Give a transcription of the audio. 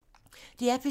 DR P2